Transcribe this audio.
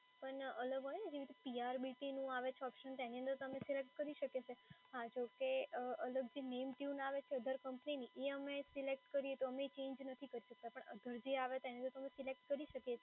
પણ અલગ હોય ને, જેવી રીતે PRBT નું આવે છે ઓપ્શન તેની અંદર તમે સિલેક્ટ કરી શકીએ છીએ, હા જોકે અલગ જે name tune આવે છે other કંપનીની એ અમે સિલેક્ટ કરીએ તો અમે ચેન્જ નથી કરી શકતા